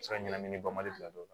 se ka ɲɛnamini bali ka don o la